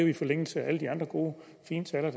i forlængelse af alle de andre gode og fine taler